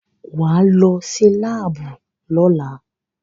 Wà á lọ sí láàbù lọ́la!